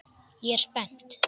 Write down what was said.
Ég er spennt.